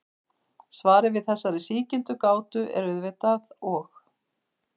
Svarið við þessari sígildu gátu er auðvitað og.